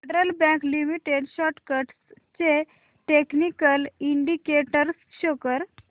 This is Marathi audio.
फेडरल बँक लिमिटेड स्टॉक्स चे टेक्निकल इंडिकेटर्स शो कर